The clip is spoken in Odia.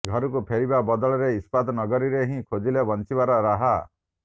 ଘରକୁ ଫେରିବା ବଦଳରେ ଇସ୍ପାତ ନଗରୀରେ ହିଁ ଖୋଜିଲେ ବଞ୍ଚିବାର ରାହା